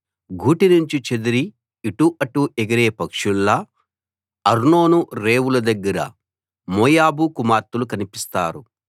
గూటి నుంచి చెదిరి ఇటు అటు ఎగిరే పక్షుల్లా అర్నోను రేవుల దగ్గర మోయాబు కుమార్తెలు కనిపిస్తారు